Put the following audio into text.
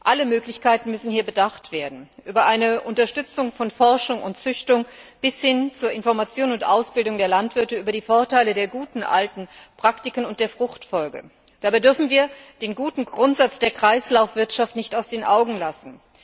Alle Möglichkeiten müssen hier bedacht werden, von der Unterstützung von Forschung und Züchtung bis hin zur Information und Ausbildung der Landwirte mit Bezug auf die Vorteile der guten alten Praktiken und der Fruchtfolge. Dabei dürfen wir den guten Grundsatz der Kreislaufwirtschaft nicht aus den Augen lassen.